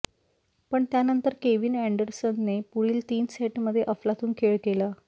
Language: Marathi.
पण त्यानंतर केव्हीन अँडरसनने पुढील तीन सेटमध्ये अफलातून खेळ केला